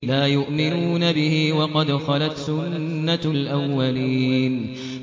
لَا يُؤْمِنُونَ بِهِ ۖ وَقَدْ خَلَتْ سُنَّةُ الْأَوَّلِينَ